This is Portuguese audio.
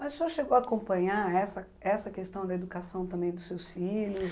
Mas o senhor chegou a acompanhar essa essa questão da educação também dos seus filhos?